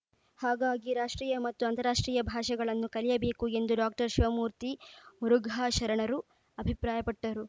ಹಾಗಾಗಿ ರಾಷ್ಟ್ರೀಯ ಮತ್ತು ಅಂತಾರಾಷ್ಟ್ರೀಯ ಭಾಷೆಗಳನ್ನು ಕಲಿಯಬೇಕು ಎಂದು ಡಾಕ್ಟರ್ ಶಿವಮೂರ್ತಿ ಮುರುಘಾ ಶರಣರು ಅಭಿಪ್ರಾಯಪಟ್ಟರು